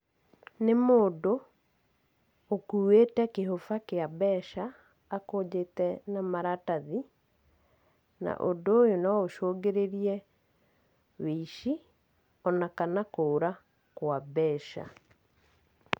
Nĩ mũndũ, ũkuwĩte kĩhũba kĩa mbeca, akũnjite na maratathi, na ũndũ ũyũ no ũcũngĩrĩrie wĩici ona kana kũra kwa mbeca.